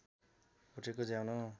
भुटेको ज्वानो